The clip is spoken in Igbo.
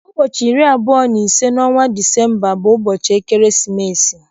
Ụbọchị iri abụọ na ise n'ọnwa Disemba bu ubochi ekeresimesi.